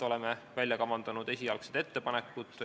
Oleme kavandanud esialgsed ettepanekud.